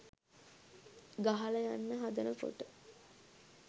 ගහලා යන්න හදනකොට